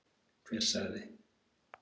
Hver sagði?